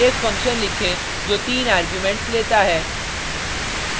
एक फंक्शन लिखें जो तीन आर्गुमेंट्स लेता है